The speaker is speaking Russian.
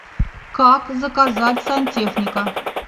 как заказать сантехника